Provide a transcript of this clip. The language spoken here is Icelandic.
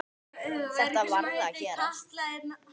Þetta varð að gerast.